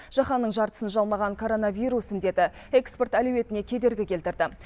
жаһанның жартысын жалмаған коронавирус індеті экспорт әлеуетіне кедергі келтірді